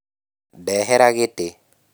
Ndehera gĩtĩ